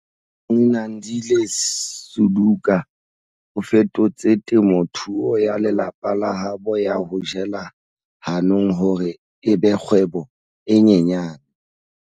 Nomagcinandile Suduka o fetotse temothuo ya lelapa la habo ya ho jela hanong hore e be kgwebo e nyenyane.